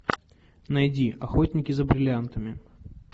найди охотники за бриллиантами